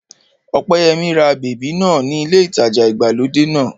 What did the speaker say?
Ọpẹ́yẹmí ra bèbí náà ní ilé ìtajà ìgbàlódé náà